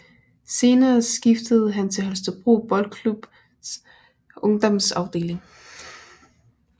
Senere skiftede han til Holstebro Boldklubs ungdomsafdeling